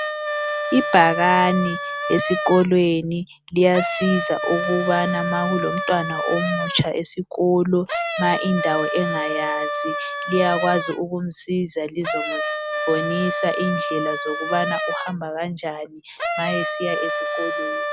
Ibhakane esikolweni liyasiza ukubana ma kulomntwana omutsha esikolo ma indawo engayazi liyakwazi ukumsiza lizomubonisa indlela zokubana uhamba kanjani ma esiya esikolweni.